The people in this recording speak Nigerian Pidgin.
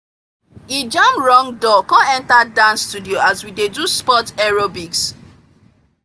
e jam wrong door come enter dance studio as we dey do sports aerobics